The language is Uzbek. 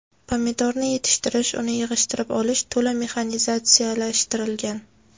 Pomidorni yetishtirish, uni yig‘ishtirib olish to‘la mexanizatsiyalashtirilgan.